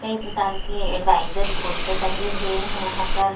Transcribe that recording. कई प्रकार के एडवाइजर पोस्टर टंगे हुए हैं यहाँ पर--